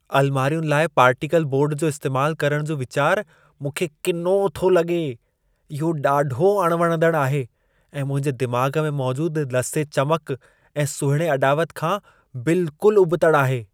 अलमारियुनि लाइ particle board जो इस्तेमालु करण जो वीचारु मूंखे किनो थो लॻे। इहो ॾाढो अणवणंदड़ आहे ऐं मुंहिंजे दिमाग़ में मौजूदु लसे चमक ऐं सुहिणे अॾावत खां बिल्कुलु उबतड़ि आहे।